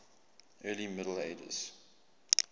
early middle ages